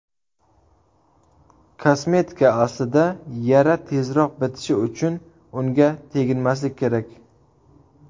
Kosmetika Aslida yara tezroq bitishi uchun unga teginmaslik kerak.